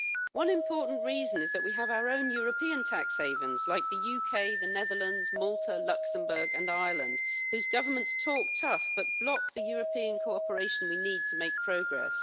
One important reason is that we have our own European tax havens such as the UK, the Netherlands, Malta, Luxembourg and Ireland whose governments talk tough but block the European cooperation we need to make progress.